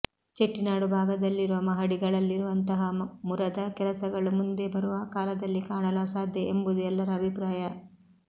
ಚೆಟ್ಟಿನಾಡು ಭಾಗದಲ್ಲಿರುವ ಮಹಡಿಗಳಲ್ಲಿರುವಂತಹ ಮುರದ ಕೆಲಸಗಳು ಮುಂದೆ ಬರುವ ಕಾಲದಲ್ಲಿ ಕಾಣಲು ಅಸಾಧ್ಯ ಎಂಬುದು ಎಲ್ಲರ ಅಭಿಪ್ರಾಯ